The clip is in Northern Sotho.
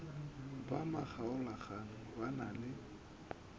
ba makgaolakgang ba na le